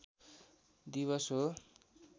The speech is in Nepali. दिवस हो